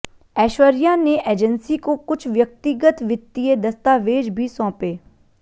ऐश्वर्या ने एजेंसी को कुछ व्यक्तिगत वित्तीय दस्तावेज भी सौंपे